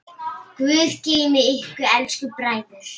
Guð geymi ykkur elsku bræður.